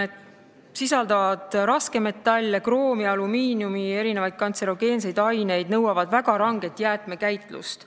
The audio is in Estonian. Need kemikaalid sisaldavad raskmetalle, kroomi, alumiinimumi ja mitmeid kantserogeenseid aineid ning nõuavad väga ranget jäätmekäitlust.